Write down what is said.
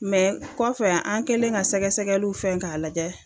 Mɛ kɔfɛ an kɛlen ka sɛgɛsɛgɛliw fɛ k'a lajɛ